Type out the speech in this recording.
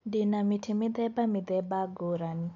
Ndĩ na mĩtĩ mĩthemba mĩthemba ngũrani.